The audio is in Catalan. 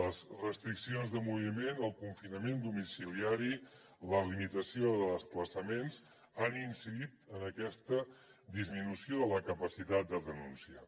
les restriccions de moviment el confinament domiciliari la limitació de desplaçaments han incidit en aquesta disminució de la capacitat de denúncia